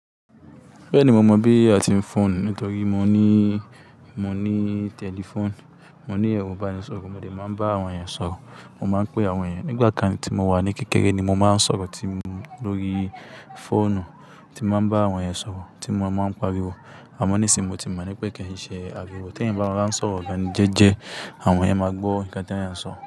Bẹ́ẹ̀ni, mo mọ̀ bí a ti ń fọ̀n nítorí mo ní, mo ní tẹlifóònù. Mo ní ẹ̀rọ ìbánisọ̀rọ̀, mo lè máa ń bá àwọn ènìyàn sọ̀rọ̀. Mo máa ń pé àwọn ènìyàn. Nígbà kan tí mo wà ní kékeré ni mo máa ń sọ̀rọ̀ tí lórí fóònù, tí mo máa ń bá àwọn ènìyàn sọ̀rọ̀, tí mo máa ń pariwo. Àmọ́ nísìí, mo ti mọ̀ pé kí n ṣe ariwo. Tí eeyan bá rọ ráńsọ gá ni jẹ́jẹ́, àwọn ènìyàn máa gbọ́ nǹkan tí eeyan ń sọ.